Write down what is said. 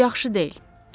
Bu yaxşı deyil.